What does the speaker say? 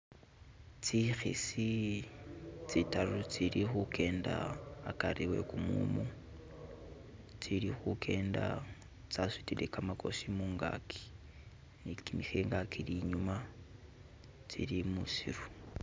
Tsikhisi tsidaru tsili khugenda hagari he gumumu, tili khukenda tsasudile kamagosi mungaki ni kimikhinga kili inyuma, tsili mushifo